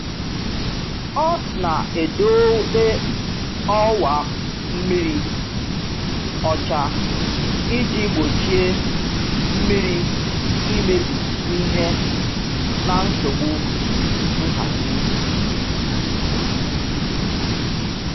Ọ na-edobe ọwa mmiri ọcha iji gbochie mmiri imebi ihe na nsogbu nhazi.